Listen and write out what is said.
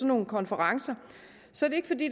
nogle konferencer